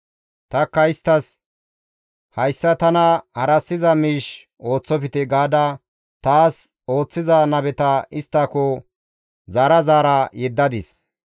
Tanikka isttas, ‹Hayssa tana harassiza miish ooththofte!› gaada taas ooththiza nabeta isttako zaara zaara yeddadis.